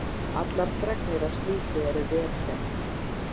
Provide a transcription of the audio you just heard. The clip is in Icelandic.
Allar fregnir af slíku eru vel þegnar.